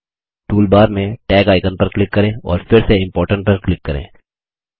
toolbar में tag icon पर click करें और फिर से इम्पोर्टेंट पर क्लिक करें